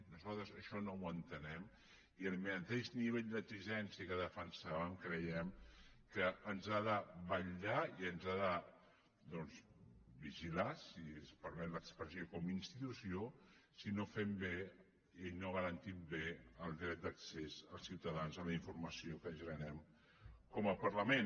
nosaltres això no ho entenem i el mateix nivell d’exigència que defensàvem creiem que ens ha de vetllar i ens ha de doncs vigilar si es permet l’expressió com a institució si no fem bé i no garantim bé el dret d’accés dels ciutadans a la informació que generem com a parlament